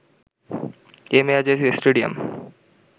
MA Aziz stadium